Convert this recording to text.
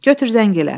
Götür zəng elə.